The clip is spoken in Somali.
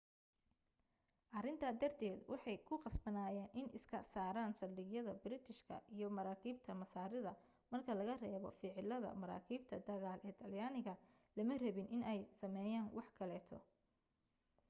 arinta darted waxee ku qasbanayen in iska saaran saldhigyada biritishka iyo maraakibta masaarida marka laga reebo ficiladaa maraakiibta dagaal ee talyaniga lama rabin in ay sameyan wax kaleeto